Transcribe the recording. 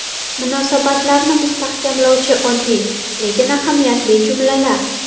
Munosabatlarni mustahkamlovchi oddiy, lekin ahamiyatli jumlalar.